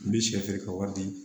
N bi sɛ feere ka wari di